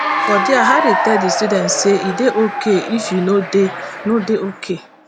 for dia harry tell di students say e dey ok if you no dey no dey ok